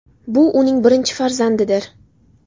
Bu uning birinchi farzandidir.